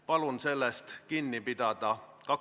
Palun sellest kinni pidada!